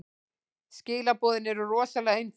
Skilaboðin eru rosalega einföld.